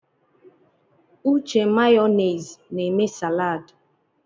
Uche Mayonezi na eme saladị.